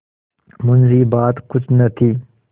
मुंशीबात कुछ न थी